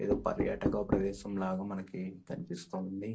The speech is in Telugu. ఎదో పర్యాటక ప్రదేశం లాగ మనకి కనిపిస్తుంది.